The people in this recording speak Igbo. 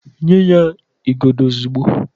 Nye ya igodo ozugbo